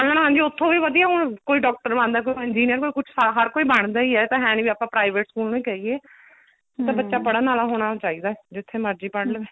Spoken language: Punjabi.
ਹਾਂਜੀ ਉੱਥੋ ਵੀ ਵਧੀਆ ਕੋਈ doctor ਬਣਦਾ ਕੋਈ engineer ਕੋਈ ਕੁੱਝ ਹਰ ਕੋਈ ਬਣਦਾ ਹੀ ਹੈ ਇਹ ਤਾਂ ਹੈ ਨੀ ਆਪਾਂ private ਸਕੂਲ ਨੂੰ ਕਹੀਏ ਇਹ ਤਾ ਬੱਚਾ ਪੜ੍ਹਨ ਆਲਾ ਹੋਣਾ ਚਾਹੀਦਾ ਜਿੱਥੇ ਮਰਜੀ ਪੜ੍ਹ ਲਵੇ